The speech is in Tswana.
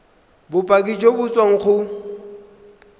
bopaki jo bo tswang go